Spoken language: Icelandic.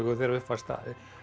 þegar upp var staðið